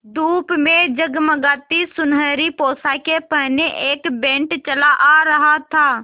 धूप में जगमगाती सुनहरी पोशाकें पहने एक बैंड चला आ रहा था